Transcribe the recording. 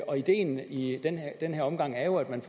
og ideen i den her omgang er jo at man